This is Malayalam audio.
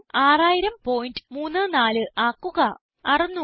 6000 600034 ആക്കുക